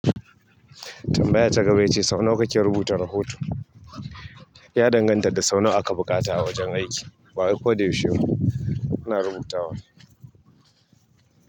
Tambaya ta gaba ita ce: sau nawa kake rubuta rahoto? Ya danganta da sau nawa aka buƙata a wajen aiki. Ba koyaushe muna rubutawa ba.